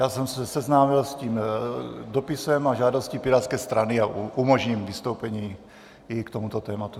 Já jsem se seznámil s tím dopisem a žádostí Pirátské strany a umožním vystoupení i k tomuto tématu.